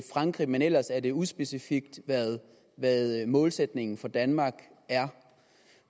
frankrig men ellers er det uspecifikt hvad målsætningen for danmark er